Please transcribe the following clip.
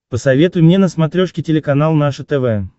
посоветуй мне на смотрешке телеканал наше тв